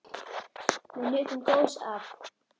Við nutum góðs af.